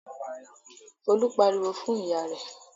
Folú pariwo fún ìyá rẹ̀?